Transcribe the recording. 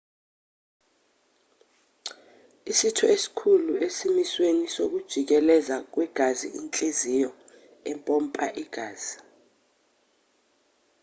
isitho esikhulu esimisweni sokujikeleza kwegazi inhliziyo empompa igazi